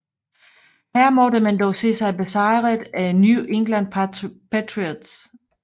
Her måtte man dog se sig besejret af New England Patriots